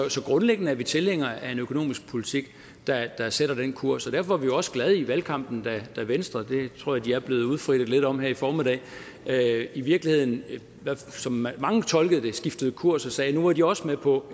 grundlæggende er vi tilhængere af en økonomisk politik der sætter den kurs og derfor blev vi også glade i valgkampen da venstre det tror jeg de er blevet udfrittet lidt om her i formiddag i virkeligheden som mange tolkede det skiftede kurs og sagde at nu var de også med på